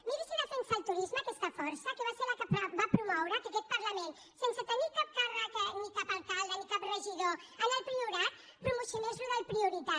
miri si defensa el turis·me aquesta força que va ser la que va promoure que aquest parlament sense tenir cap càrrec ni cap alcal·de ni cap regidor en el priorat promocionés allò del prioritat